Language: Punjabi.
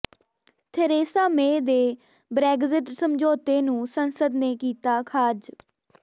ਥੈਰੇਸਾ ਮੇਅ ਦੇ ਬ੍ਰੈਗਜ਼ਿਟ ਸਮਝੌਤੇ ਨੂੰ ਸੰਸਦ ਨੇ ਕੀਤਾ ਖ਼ਾਰਜ